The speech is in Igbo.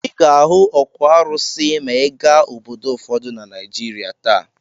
Ị ga-ahụ òkwù arụsị maa ị gaa obodo ụfọdụ na Naịjịrịa taa.